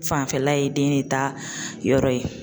Fanfɛla ye den de ta yɔrɔ ye.